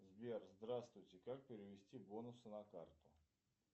сбер здравствуйте как перевести бонусы на карту